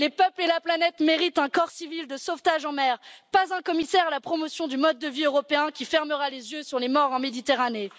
Les peuples et la planète méritent un corps civil de sauvetage en mer, et non un commissaire à la promotion du mode de vie européen qui fermera les yeux sur les morts en Méditerranée.